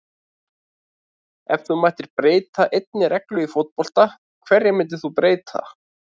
Ef þú mættir breyta einni reglu í fótbolta, hverju myndir þú breyta??